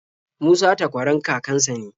Musa takwaran kakan sa ne.